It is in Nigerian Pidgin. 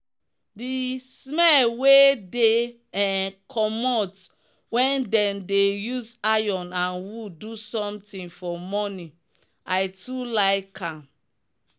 the smell wey dey um commot when them dey use iron and wood do something for morning i too like am